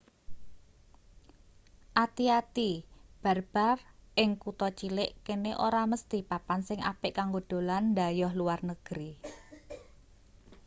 ati-ati bar-bar ing kutha cilik kene ora mesthi papan sing apik kanggo dolan dhayoh luar negri